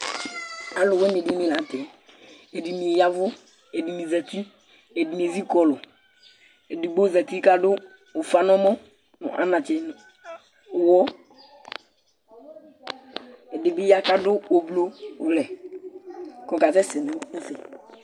Alʋwìní di ni la ntɛ Ɛdiní ya avu, ɛdiní zɛti, ɛdiní ezi kɔlu Ɛdigbo zɛti kʋ adu ʋfa nʋ ɛmɔ nʋ anatsɛ nʋ ʋwɔ Ɛdí bi ya kʋ adu ʋblue lɛ kʋ ɔkasɛsɛ nʋ ɛfɛ